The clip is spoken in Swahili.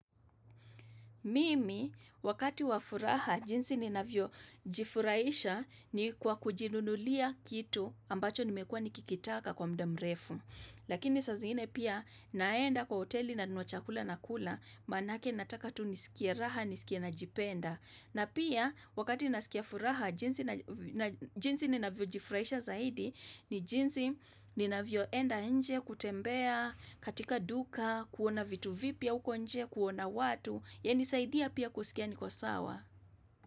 Mimi, wakati wa furaha, jinsi ninavyo jifurahisha ni kwa kujinunulia kitu ambacho nimekuwa nikikitaka kwa muda mrefu. Lakini saa zingine pia naenda kwa hoteli na nunua chakula nakula, maanake nataka tu nisikie raha, nisikie najipenda. Na pia wakati ninasikia furaha jinsi na jinsi ninavyojifurahisha zaidi ni jinsi ninavyoenda nje kutembea katika duka, kuona vitu vipya uko nje, kuona watu yanisaidia pia kusikia niko sawa.